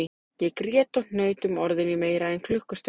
Ég grét og hnaut um orðin í meira en klukkustund